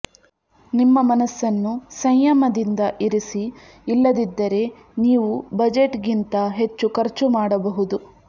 ನಿಮ್ಮ ಮನಸ್ಸನ್ನು ಸಂಯಮದಿಂದ ಇರಿಸಿ ಇಲ್ಲದಿದ್ದರೆ ನೀವು ಬಜೆಟ್ಗಿಂತ ಹೆಚ್ಚು ಖರ್ಚು ಮಾಡಬಹುದು